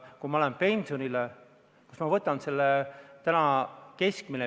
Keskmine pensionifondi kogutud summa on 4000 eurot.